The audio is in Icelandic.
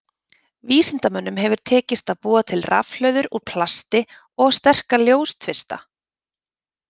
Vísindamönnum hefur tekist að búa til rafhlöður úr plasti og sterka ljóstvista.